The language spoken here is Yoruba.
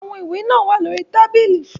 Àwọn ìwé náà wà lórí tábìlì.